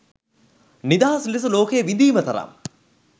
නිදහස් ලෙස ලෝකය විඳීම තරම්